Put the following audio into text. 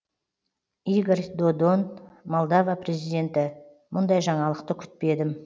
игорь додон молдова президенті мұндай жаңалықты күтпедім